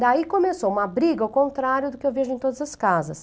Daí começou uma briga ao contrário do que eu vejo em todas as casas.